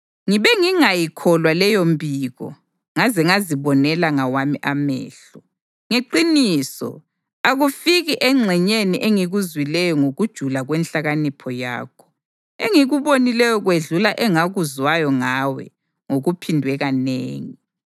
Ngibe ngingayikholwa leyo mbiko ngaze ngazibonela ngawami amehlo. Ngeqiniso, akufiki engxenyeni engikuzwileyo ngokujula kwenhlakanipho yakho; engikubonileyo kwedlula engakuzwayo ngawe ngokuphindwe kanengi.